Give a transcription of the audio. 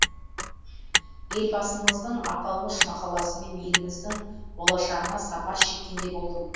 елбасымыздың аталмыш мақаласымен еліміздің болашағына сапар шеккендей болдым